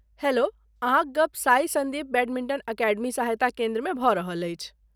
Hello! अहाँक गप साई सन्दीप बैडमिन्टन अकेडमी सहायता केन्द्रमे भऽ रहल अछि।